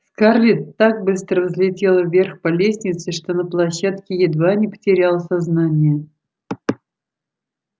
скарлетт так быстро взлетела вверх по лестнице что на площадке едва не потеряла сознание